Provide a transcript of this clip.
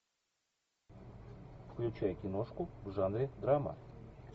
включай киношку в жанре драма